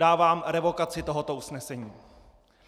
Dávám revokaci tohoto usnesení.